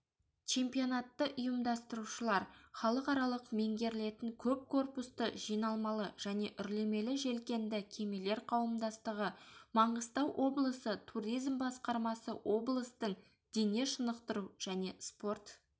чемпионатты ұйымдастырушылар халықаралық меңгерілетін көп корпусты жиналмалы және үрлемелі желкенді кемелер қауымдастығы маңғыстау облысы туризм басқармасы облыстың дене шынықтыру және спорт